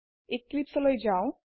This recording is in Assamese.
এক্লিপছে লৈ যাও